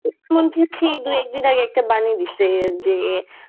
হচ্ছে এই দু একদিন আগে একটা বানি দিছে যে